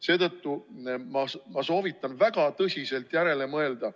Seetõttu ma soovitan teil väga tõsiselt järele mõelda.